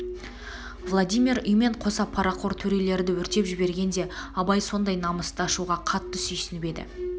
владимир үймен қоса парақор төрелерді өртеп жібергенде абай сондай намысты ашуға қатты сүйсініп еді